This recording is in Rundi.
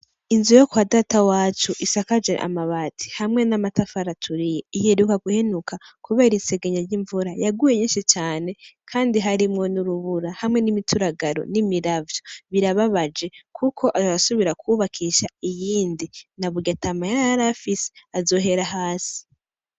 Inzu yo kwa data wacu isakajwe amabati hamwe n'amatafari aturiye, iheruka guhenuka kubera isegenya ry'imvura yaguye nyinshi cane kandi harimwo n'urubura hamwe n'imituragaro n'imiravyo birababaje kuko arasubira kwubakisha iyindi na burya ata mahera yari afise azohera hasi.